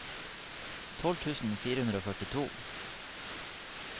tolv tusen fire hundre og førtito